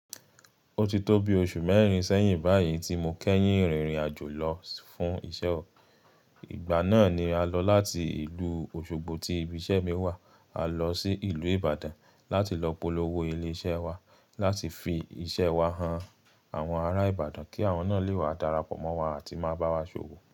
Ó ti tó bi oṣù mẹ́rin sẹ́yìn báyìí tí mo kẹ́yìn rìnrìn àjò lọ fún iṣẹ́ ọ̀. Ìgbà náà ni a lọ láti ìlú Osogbo tí ibi iṣẹ́ mi wà. A lọ sí ìlú Ibadan láti lọ polówó ilé iṣẹ́ wa láti fi iṣẹ́ wa han àwọn ará Ibadan kí àwọn náà lè wá darapọ̀ mọ́ wa àti máa bá wa ṣòwò.